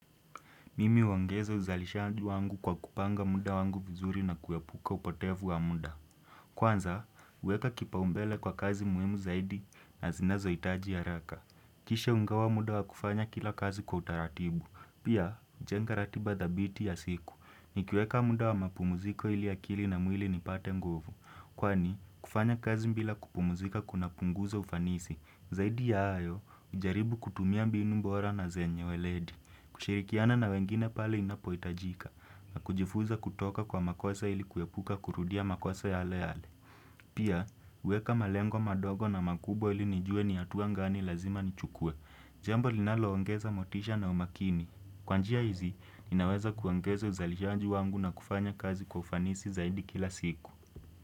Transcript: Mimi uangeza uzalishandu wangu kwa kupanga muda wangu vizuri na kuyapuka upotevu wa muda. Kwanza, huweka kipau mbele kwa kazi muhimu zaidi na zinazohitaji haraka. Kishe ugawa muda wa kufanya kila kazi kwa utaratibu. Pia, jenga ratiba dhabiti ya siku. Nikiweka muda wa mapumuziko ili akili na mwili nipate nguvu. Kwani, kufanya kazi bila kupumuzika kuna punguza ufanisi. Zaidi ya hayo, hujaribu kutumia mbinu bora na zenye uweledi. Kushirikiana na wengine pale inapoitajika na kujifunza kutoka kwa makosa ili kuepuka kurudia makuasa yale yale. Pia, uweka malengo madogo na makubo ili nijue ni atuangani lazima nichukue. Jambo linaloongeza motisha na umakini. Kwa njia hizi, inaweza kuongeza uzalishaji wangu na kufanya kazi kwa ufanisi zaidi kila siku.